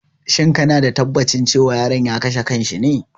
Shin kana da tabbacin cewa yaron ya kashe kan shi ne?